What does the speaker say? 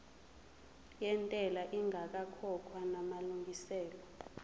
yentela ingakakhokhwa namalungiselo